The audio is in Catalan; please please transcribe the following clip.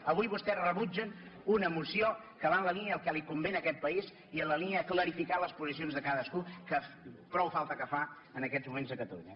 avui vostès rebutgen una moció que va en la línia del que li convé a aquest país i en la línia de clarificar les posicions de cadascú que prou falta que fa en aquests moments a catalunya